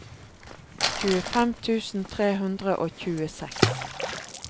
tjuefem tusen tre hundre og tjueseks